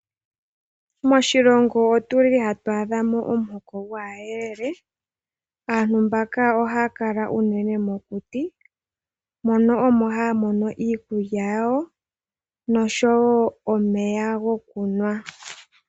Moshilongo otuli hatu adha mo omuhoko gwaayelele. Aantu mbaka ohaya kala unene mokuti moka omo haya mono iikuya yawo nosho wo omeya gokunwa.